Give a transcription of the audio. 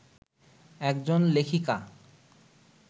একজন লেখিকা